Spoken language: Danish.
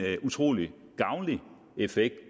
utrolig gavnlig effekt